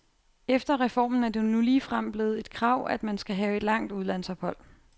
Efter reformen er det nu ligefrem blevet et krav, at man skal have et langt udlandsophold.